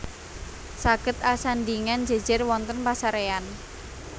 Saged asandhingan jèjèr wonten pasaréyan